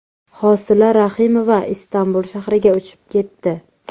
Hosila Rahimova Istanbul shahriga uchib ketdi.